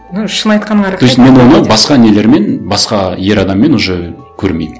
ну шын айтқаныңа рахмет то есть мен ойлаймын басқа нелермен басқа ер адаммен уже көрмеймін